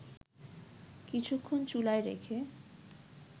কিছুক্ষণ চুলায় রেখে